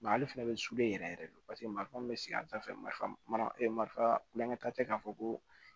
ale fana bɛ sulen yɛrɛ yɛrɛ de paseke marifa min bɛ sigida fɛ marifa marifa tɛ k'a fɔ ko